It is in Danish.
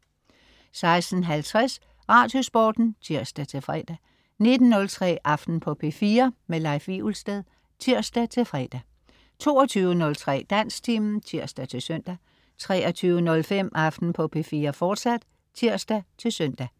16.50 Radiosporten (tirs-fre) 19.03 Aften på P4. Leif Wivelsted (tirs-fre) 22.03 Dansktimen (tirs-søn) 23.05 Aften på P4, fortsat (tirs-søn)